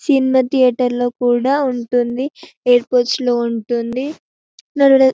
cinema theatre లో కూడా ఉంటుంది ఎయిర్పోర్ట్ ఉంటుంది --